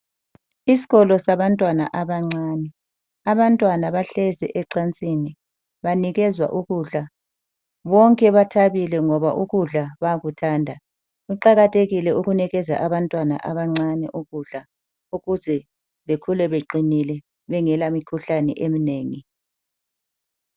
Isikolo sabantwana abancane abantwana bahlezi ecansini banikezwa ukudla bonke bathabile ngoba ukudla bayakuthanda. Kuqakathekile ukunikeza abantwana abancane ukudla ukuze bekhule beqinile bengela mikhuhlane eminengi.